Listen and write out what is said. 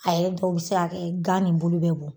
A yɛrɛ dɔw bi se ka kɛ, gan ni bulu bɛ bɔn